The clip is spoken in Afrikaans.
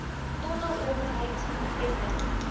tonnelowerheid tcto heffing